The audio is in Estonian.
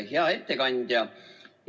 Hea ettekandja!